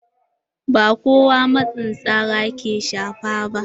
Ba kowa matsin tsara ke shafa ba.